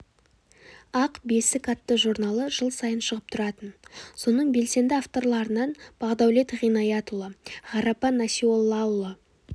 ақ бесік атты журналы жыл сайын шығып тұратын соның белсенді авторларынан бағдәулет ғинаятұлы ғарапа насиоллаұлы